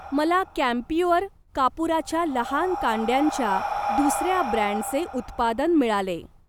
मला कॅम्प्युअर कापूराच्या लहान कांड्यांच्या दुसर्या ब्रँडचे उत्पादन मिळाले.